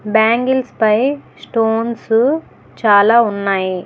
Bangles పై stones చాలా ఉన్నాయి.